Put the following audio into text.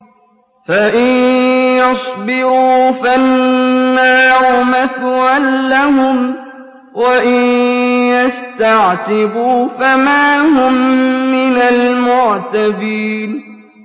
فَإِن يَصْبِرُوا فَالنَّارُ مَثْوًى لَّهُمْ ۖ وَإِن يَسْتَعْتِبُوا فَمَا هُم مِّنَ الْمُعْتَبِينَ